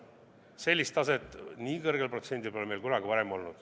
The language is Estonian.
Sellist taset, nii kõrget protsenti, pole meil kunagi varem olnud.